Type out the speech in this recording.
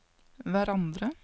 hverandre